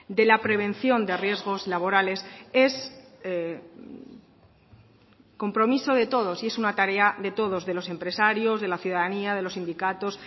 de la prevención de riesgos laborales es compromiso de todos y es una tarea de todos de los empresarios de la ciudadanía de los sindicatos